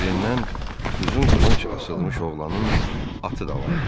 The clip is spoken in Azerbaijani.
Belindən uzun qılınc asılmış oğlanın atı da vardı.